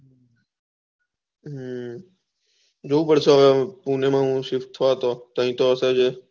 જોવું પડશે હવે પુણે નું શિફ્ટ થયો હતો તય તો હશે એ